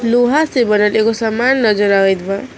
लोहा से बनल एगो समान नजर आवेत बा।